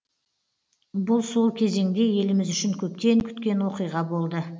бұл сол кезеңде еліміз үшін көптен күткен оқиға болды